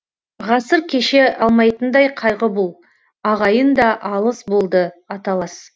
ғасыр кеше алмайтындай қайғы бұл ағайын да алыс болды аталас